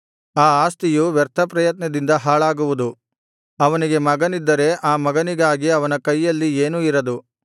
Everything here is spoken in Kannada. ಆ ಆಸ್ತಿಯು ವ್ಯರ್ಥ ಪ್ರಯತ್ನದಿಂದ ಹಾಳಾಗುವುದು ಅವನಿಗೆ ಮಗನಿದ್ದರೆ ಆ ಮಗನಿಗಾಗಿ ಅವನ ಕೈಯಲ್ಲಿ ಏನೂ ಇರದು